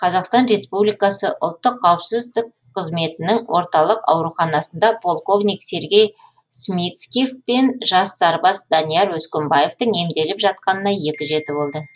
қазақстан республикасы ұлттық қауіпсіздік қызметінің орталық ауруханасында полковник сергей смицких пен жас сарбаз данияр өскенбаевтың емделіп жатқанына екі жеті болды